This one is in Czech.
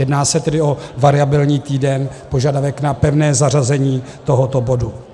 Jedná se tedy o variabilní týden, požadavek na pevné zařazení tohoto bodu.